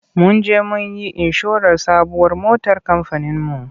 Mun je mun yi inshorar sabuwar motar kamfaninmu.